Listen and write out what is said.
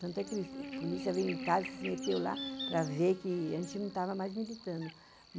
Tanto é que a polícia veio em casa e se meteu lá para ver que a gente não estava mais militando.